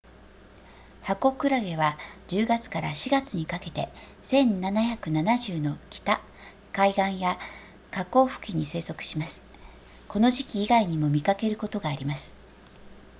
ハコクラゲは10月から4月にかけて1770の北海岸や河口付近に生息しますこの時期以外にも見かけることがあります